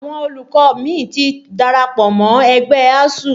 Àwọn olùkọ́ mi ti darapọ̀ mọ ẹgbẹ́ ASUU